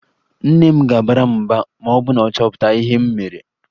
Nne m ga-abara m mba ma ọ chọpụta ihe m mere